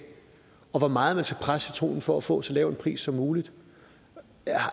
og hvor meget man skal presse citronen for at få så lav en pris som muligt